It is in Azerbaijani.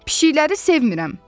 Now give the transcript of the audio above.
Pişikləri sevmirəm.